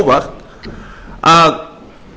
nokkuð á óvart að